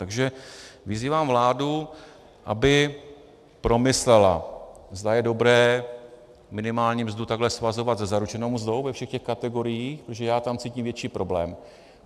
Takže vyzývám vládu, aby promyslela, zda je dobré minimální mzdu takhle svazovat se zaručenou mzdou ve všech těch kategoriích, protože já tam cítím větší problém.